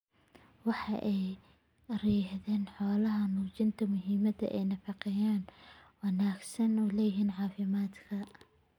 Waxa ay ka yiraahdeen xoolaha ayaa muujinaya muhimadda ay nafaqeynta wanaagsan u leedahay caafimaadka.